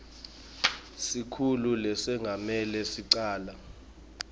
sikhulu lesengamele licala